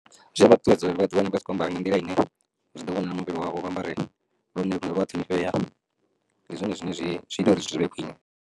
Zwi a vha ṱuṱuwedza uri vha ḓi wane vha tshi kho ambara nga nḓila ine zwi ḓo vhona muvhili wavho vha ambare lune lwoṱhe lwo fhelelaho ndi zwone zwine zwi zwi ita uri zwivhe khwine.